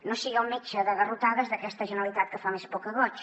no sigui el metge de garrotades d’aquesta generalitat que fa més por que goig